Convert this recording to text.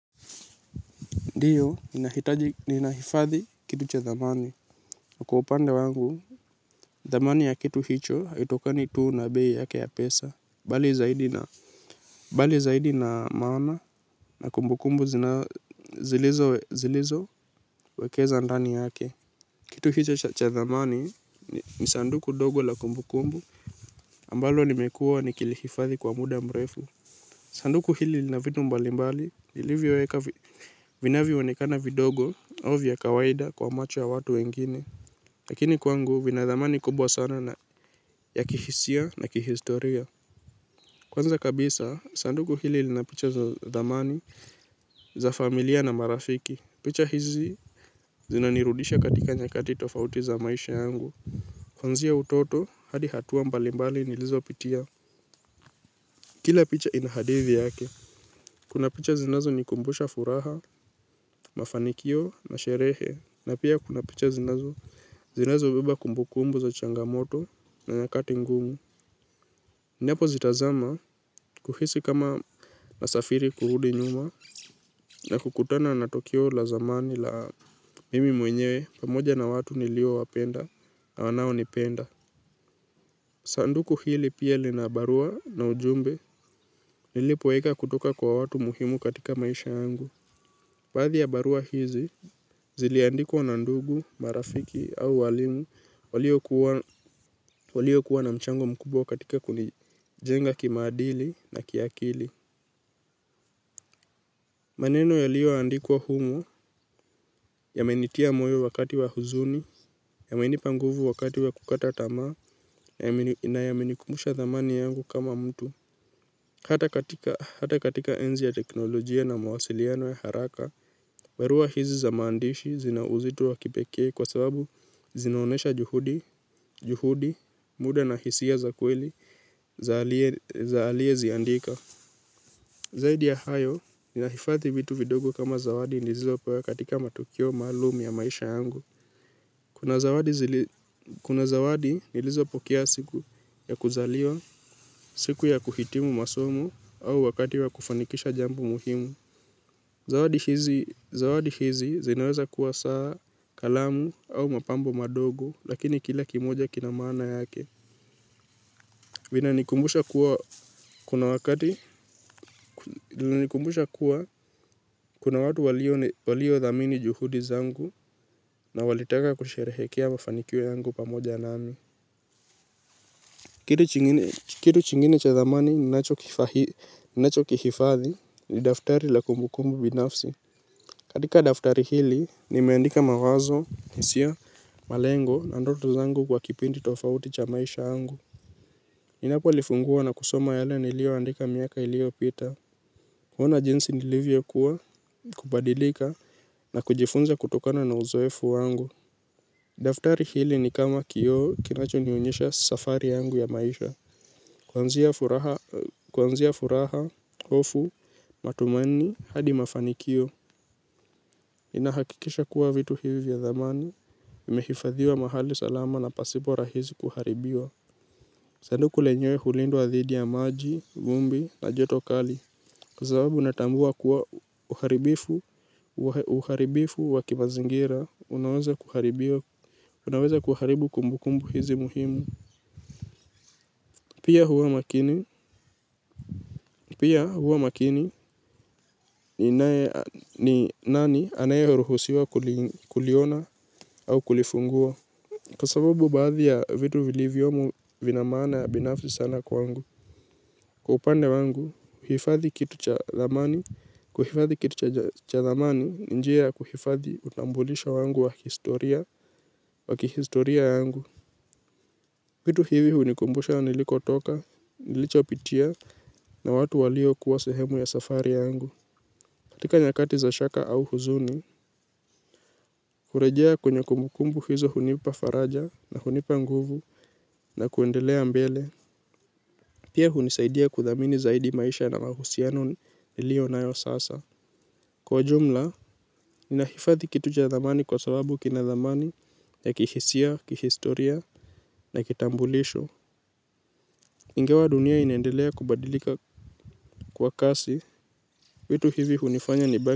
Ndiyo, ninahifadhi kitu cha zamani. Kwa upande wangu, dhamani ya kitu hicho, haitokani tuu na bei yake ya pesa. Bali zaidi na maana na kumbukumbu zilizowekeza ndani yake. Kitu hicho cha dhamani, ni sanduku dogo la kumbukumbu, ambalo nimekuwa nikilihifadhi kwa muda mrefu. Sanduku hili lina vitu mbalimbali nilivyoweka vinavyoonekana vidogo au vya kawaida kwa macho ya watu wengine. Lakini kwangu vina dhamani kubwa sana ya kihisia na kihistoria. Kwanza kabisa, sanduku hili lina picha za dhamani za familia na marafiki. Picha hizi zinanirudisha katika nyakati tofauti za maisha yangu. Kuanzia utoto hadi hatua mbalimbali nilizopitia. Kila picha ina hadithi yake. Kuna picha zinazonikumbusha furaha, mafanikio na sherehe, na pia kuna picha zinazobeba kumbukumbu za changamoto na nyakati ngumu. Ninapozitazama huhisi kama nasafiri kurudi nyuma na kukutana na tukio la zamani la mimi mwenyewe pamoja na watu niliowapenda na wanaonipenda. Sanduku hili pia lina barua na ujumbe nilipoweka kutoka kwa watu muhimu katika maisha yangu. Badhi ya barua hizi, ziliandikwa na ndugu, marafiki au waalimu, waliokuwa na mchango mkubwa katika kunijenga kimaadili na kiakili. Maneno yaliyoandikwa humu, yamenitia moyo wakati wa huzuni, yamenipa nguvu wakati wa kukata tamaa na yamenikumbusha dhamani yangu kama mtu. Hata katika enzi ya teknolojia na mawasiliano ya haraka, mbarua hizi za maandishi zina uzito wa kipekee kwa sababu zinaonyesha juhudi, muda na hisia za kweli za aliyeziandika. Zaidi ya hayo, ninahifadhi vitu vidogo kama zawadi nilizopewa katika matukio maluum ya maisha yangu. Kuna zawadi nilizopokea siku ya kuzaliwa, siku ya kuhitimu masomo au wakati ya kufanikisha jambo muhimu. Zawadi hizi zinaweza kuwa saa, kalamu au mapambo madogo lakini kila kimoja kina maana yake. Vinanikumbusha kuwa kuna watu waliodhamini juhudi zangu na walitaka kusherehekea mafanikio yangu pamoja nami. Kitu kingine cha dhamani ninachokihifadhi ni daftari la kumbukumbu binafsi. Katika daftari hili, nimeandika mawazo, hisia malengo na ndoto zangu kwa kipindi tofauti cha maisha angu. Ninapolifungua na kusoma yale niliyoandika miaka ilio pita. Huona jinsi nilivyokuwa, kubadilika na kujifunza kutokana na uzoefu wangu. Daftari hili ni kama kioo kinachonionyesha safari yangu ya maisha. Kuanzia furaha, hofu, matumaini, hadi mafanikio. Inahakikisha kuwa vitu hivi vya dhamani. Vimehifadhiwa mahali salama na pasipo rahisi kuharibiwa. Sanduku lenyewe hulindwa dhidi ya maji, vumbi na joto kali. Kwa sababu natambua kuwa uharibifu wa kimazingira, unaweza kuharibu kumbukumbu hizi muhimu. Pia huwa makini ni nani anayeruhusiwa kuliona au kulifungua. Kwa sababu baadhi ya vitu vilivyomo vina maana ya binafsi sana kwangu. Kwa upande wangu, huhifadhi kitu cha kuhifadhi kitu cha dhamani ni njia ya kuhifadhi utambulisho wangu wa kihistoria yangu vitu hivi hunikumbusha nilikotoka, nilichopitia na watu waliokuwa sehemu ya safari yangu. Katika nyakati za shaka au huzuni kurejea kwenye kumbukumbu hizo hunipa faraja na hunipa nguvu na kuendelea mbele. Pia hunisaidia kudhamini zaidi maisha na mahusiano niliyonayo sasa. Kwa jumla, inahifadhi kitu cha dhamani kwa sababu kina zamani ya kihisia, kihistoria na kitambulisho. Ingawa dunia inaendelea kubadilika kwa kasi, vitu hivi hunifanya nibaki.